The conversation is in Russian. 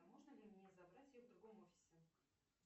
а можно ли мне забрать ее в другом офисе